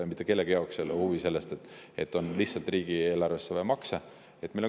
Mitte kellegi huvi ei ole see, et riigieelarvesse lihtsalt makse.